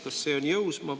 Kas see on jõus?